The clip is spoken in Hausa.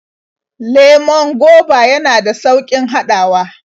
Lemon goba yana da sauƙin haɗawa.